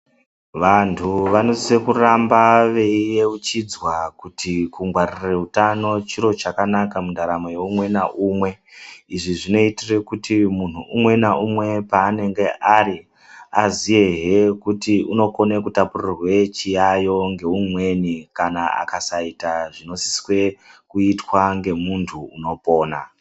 Vantu vanosise kuramba veiyeuchidzwa kuti kungwarire utano chiro chakanaka mundaramo yeumwe naumwe. Izvi zvinoitire kuti munhu umwe naumwe paanenge ari, aziyehe kuti unokone kutapurirwe chiyaiyo ngeumweni kana akasaita zvinosiswe kuitwa ngemunthu unopona.